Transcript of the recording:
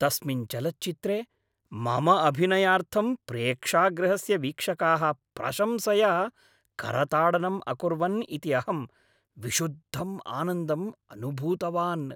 तस्मिन् चलच्चित्रे मम अभिनयार्थं प्रेक्षागृहस्य वीक्षकाः प्रशंसया करताडनं अकुर्वन् इति अहं विशुद्धं आनन्दम् अनुभूतवान्।